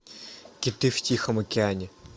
киты в тихом океане